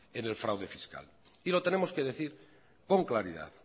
en el fraude fiscal y lo tenemos que decir con claridad